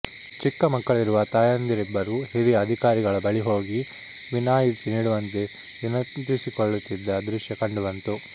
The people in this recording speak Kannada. ಚಿಕ್ಕ ಮಕ್ಕಳಿರುವ ತಾಯಂದಿರಿಬ್ಬರು ಹಿರಿಯ ಅಧಿಕಾರಿಗಳ ಬಳಿ ಹೋಗಿ ವಿನಾಯಿತಿ ನೀಡುವಂತೆ ವಿನಂತಿಸಿಕೊಳ್ಳುತ್ತಿದ್ದ ದೃಶ್ಯ ಕಂಡುಬಂತು